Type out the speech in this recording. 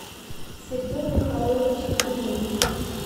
сергей михайлович климович